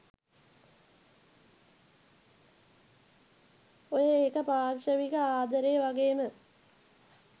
ඔය ඒක පාර්ෂවික ආද‌රේ ව‌ගේම